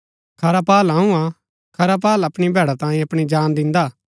खरा पाअल अऊँ हा खरा पाअल अपणी भैडा तांयें अपणी जान दिन्दा